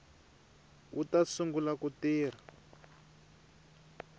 wu ta sungula ku tirha